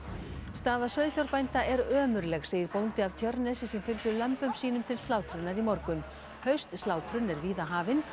staða sauðfjárbænda er ömurleg segir bóndi af Tjörnesi sem fylgdi lömbum sínum til slátrunar í morgun haustslátrun er víða hafin